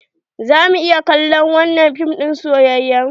Za mu iya kallon wanan fim din soyayyan?